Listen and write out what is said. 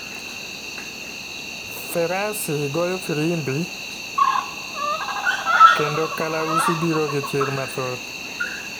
Ferasi goyo firimbi kwndo kalausi biro gi chir mathoth .